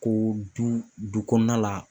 Ko du du kɔnɔna la